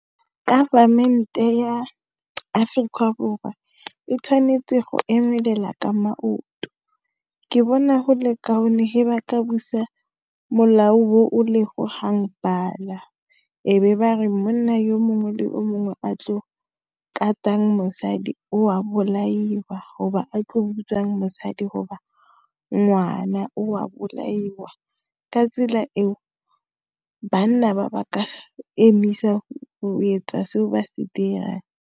Government-e ya Afrika Borwa, e tshwanetse go emelela ka maoto. Ke bona go le kaone he ba ka busa molao o o lego hangpal-a, e be bare monna yo mongwe le o mongwe a tlo, katang mosadi, o a bolaiwa, go ba a tlo utswang mosadi go ba ngwana, o a bolaiwa. Ka tsela eo, banna ba, ba ka emisa go etsa seo ba se dirang.